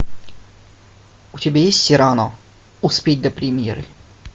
у тебя есть сирано успеть до премьеры